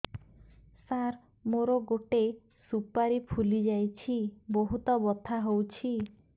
ସାର ମୋର ଗୋଟେ ସୁପାରୀ ଫୁଲିଯାଇଛି ବହୁତ ବଥା ହଉଛି